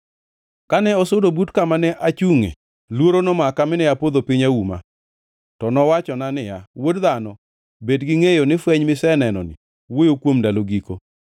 Kane osudo but kama ne achungʼe, luoro nomaka mine apodho piny auma. To nowachona niya, “Wuod dhano, bed gi ngʼeyo ni fweny misenenoni wuoyo kuom ndalo giko.”